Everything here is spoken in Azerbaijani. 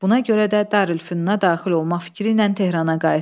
Buna görə də Darülfünna daxil olmaq fikri ilə Tehrana qayıtdı.